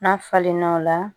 N'a falenna o la